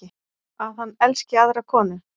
Að hann elski aðra konu.